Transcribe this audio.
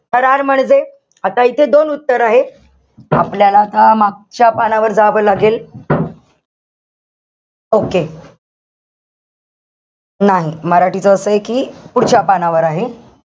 थरार म्हणजे? आता इथे दोन उत्तर आहे. आपल्याला आता मागच्या पानावर जावं लागेल. okay. नाही मराठीच असंय कि, पुढच्या पानावर आहे.